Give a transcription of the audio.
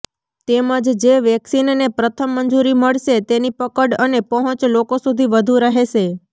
તેમજ જે વેક્સિનને પ્રથમ મંજૂરી મળશે તેની પકડ અને પહોંચ લોકો સુધી વધુ રહેશે